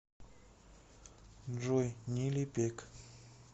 джой нилипек